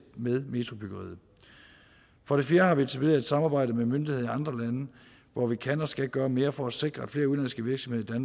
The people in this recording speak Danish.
med metrobyggeriet for det fjerde har vi etableret et samarbejde med myndigheder i andre lande hvor vi kan og skal gøre mere for at sikre at flere udenlandske virksomheder i